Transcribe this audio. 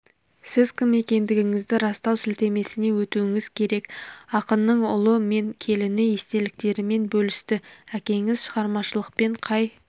сіз кім екендігіңізді растау сілтемесіне өтуіңіз керек ақынның ұлы мен келіні естеліктерімен бөлісті әкеңіз шығармашылықпен қай